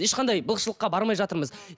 ешқандай былықшылыққа бармай жатырмыз